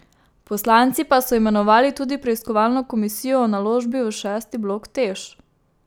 Poslanci pa so imenovali tudi preiskovalno komisijo o naložbi v šesti blok Teš.